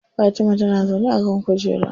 Fatima tana zaune a kan kujera.